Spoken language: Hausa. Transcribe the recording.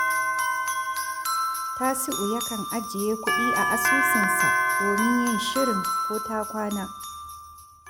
Tasi’u yakan ajiye kuɗi a asusunsa domin yin shirin ko ta kwana